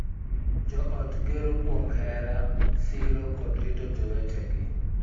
Jo ot gero kuom hera, siro, kod rito jowetegi,